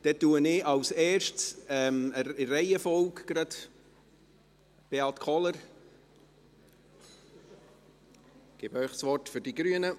Dann gebe ich zuerst gerade in der Reihenfolge Beat Kohler das Wort für die Grünen.